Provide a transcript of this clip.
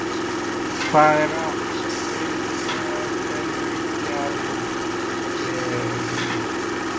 Hvað er átt við með orðinu gjaldkeri?